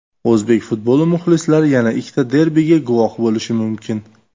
O‘zbek futboli muxlislari yana ikkita derbiga guvoh bo‘lishi mumkin.